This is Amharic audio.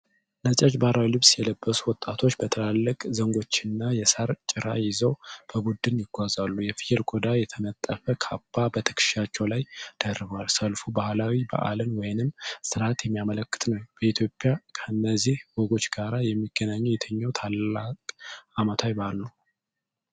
ነጫጭ ባህላዊ ልብስ የለበሱ ወጣቶች በትላልቅ ዘንጎች እና የሳር ጭራ ይዘው በቡድን ይጓዛሉ። የፍየል ቆዳ የተነጠፈ ካባ በትከሻቸው ላይ ደርበዋል። ሰልፉ ባህላዊ በዓልን ወይም ሥርዓትን የሚያመለክት ነው። በኢትዮጵያ ከነዚህ ወጎች ጋር የሚገናኘው የትኛው ታላቅ ዓመታዊ በዓል ነው?